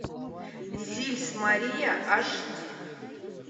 зильс мария аш ди